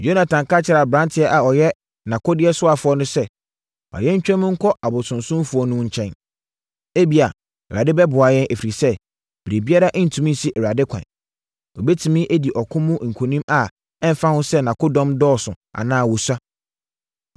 Yonatan ka kyerɛɛ aberanteɛ a ɔyɛ nʼakodeɛsoafoɔ no sɛ, “Ma yɛntwam nkɔ abosonsomfoɔ no nkyɛn. Ebia, Awurade bɛboa yɛn, ɛfiri sɛ, biribiara ntumi nsi Awurade kwan. Ɔbɛtumi adi ɔko mu nkonim a ɛmfa ho sɛ nʼakodɔm dɔɔso anaa wɔsua.”